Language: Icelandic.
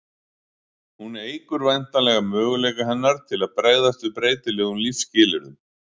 hún eykur væntanlega möguleika hennar til að bregðast við breytilegum lífsskilyrðum